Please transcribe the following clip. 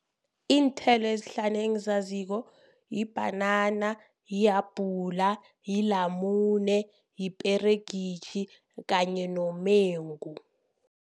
Iinthelo ezihlanu engizaziko libhanana, lihabhula, lilamune, liperegitjhi kanye nomengu.